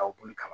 A boli kama